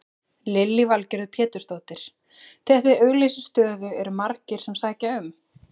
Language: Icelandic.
Lillý Valgerður Pétursdóttir: Þegar þið auglýsið stöðu eru margir sem sækja um?